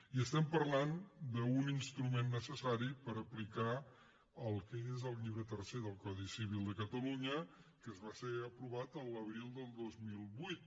i estem parlant d’un instrument necessari per aplicar el que és el llibre tercer del codi civil de catalunya que va ser aprovat l’abril del dos mil vuit